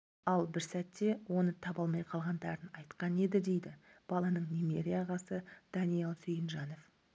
ал бір сәтте оны таба алмай қалғандарын айтқан еді дейді баланың немере ағасы даниал сүйінжанов